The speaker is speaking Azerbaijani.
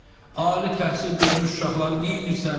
Ali təhsil görmüş uşaqları neynirsən?